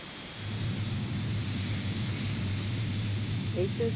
এইতো